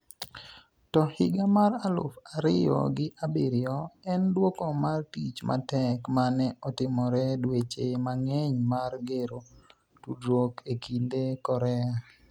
to higa mar aluf ariyo gi abiriyo en dwoko mar tich matek mane otimore dweche mang'eny mar gero tudruok e kind Korea